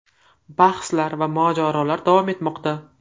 Bahslar va mojarolar davom etmoqda.